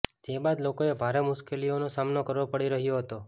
જે બાદ લોકોએ ભારે મુશ્કેલીનો સામનો કરવો પડી રહ્યો હતો